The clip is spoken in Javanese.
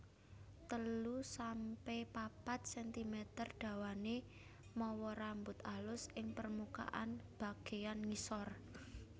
telu sampe papat sentimeter dawané mawa rambut alus ing permukaan bagéyan ngisor